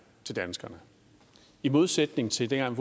til danskerne i modsætning til dengang